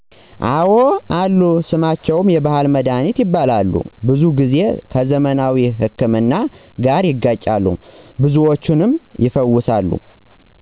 አወ አሉ ስማቸውም የባሕል መድኃኒት ይባላል ብዙ ጊዜ ከዘመናዊ ሕክምና ጋር ይጋጫሉ ብዙዎችንም ይፈውሳሉ።